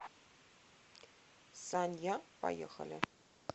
санья поехали